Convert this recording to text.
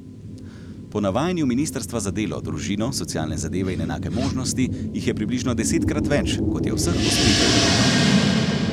Po navajanju ministrstva za delo, družino, socialne zadeve in enake možnosti jih je približno desetkrat več, kot je vseh posvojitev letno.